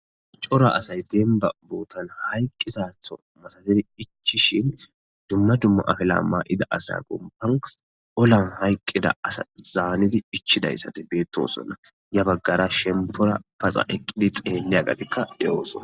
Cora asay deenba buutan hayqqisatho masatidi ichishin dumna dumma afela ma7ida asa gomban olan hayqqida asa zaanidi ichidayssate beettosonna ya baggara shempora paxa eqqidi xeelle agatikka de7oosona.